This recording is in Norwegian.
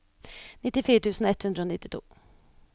nittifire tusen ett hundre og nittito